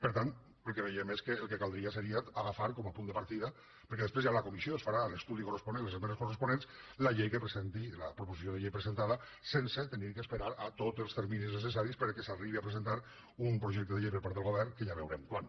per tant el que veiem és que el que caldria seria agafar com a punt de partida perquè després ja a la comissió es farà l’estudi corresponent les esmenes corresponents la proposició de llei presentada sense haver d’esperar tots els terminis necessaris perquè el govern arribi a presentar un projecte que ja veurem quan